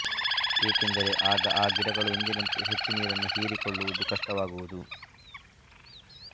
ಏಕೆಂದರೆ ಆಗ ಆ ಗಿಡಗಳು ಎಂದಿನಂತೆ ಹೆಚ್ಚು ನೀರನ್ನು ಹೀರಿಕೊಳ್ಳುವುದು ಕಷ್ಟವಾಗುವುದು